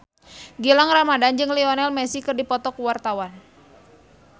Gilang Ramadan jeung Lionel Messi keur dipoto ku wartawan